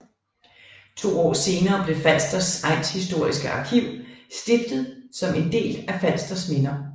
To år senere blev Falsters Egnshistoriske Arkiv stiftet som en del af Falsters Minder